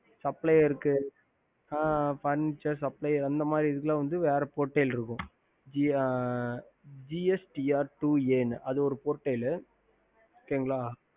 Supplier Furniture அந்தமாரி இதுக்குள்ள வேற portal இருக்கும் gstar அது ஒரு Portal